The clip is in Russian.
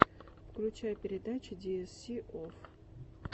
включай передачи диэсси офф